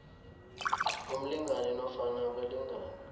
umlingani nofana abalingani